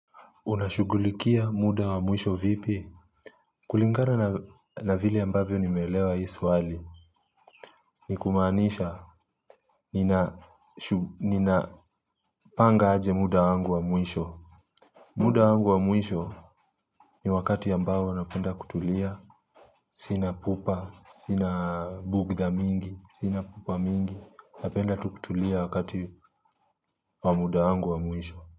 Unashughulikia muda wa mwisho vipi? Kulingana na vile ambavyo nimeelewa hii swali. Ni kumaanisha ninapanga aje muda wangu wa mwisho. Muda wangu wa mwisho ni wakati ambayo napenda kutulia. Sina pupa, sina bugdha mingi, sina pupa mingi. Napenda tu kutulia wakati wa muda wangu wa mwisho.